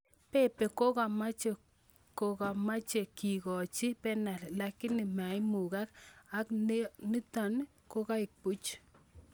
Pepe kokamache kokamache kikochi penal lakini maimukak ak nikatanotok koek puch